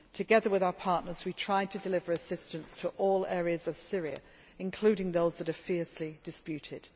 in need. Together with our partners, we try to deliver assistance to all areas of Syria, including those that are fiercely